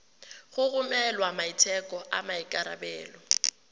go romela maiteko a maikarebelo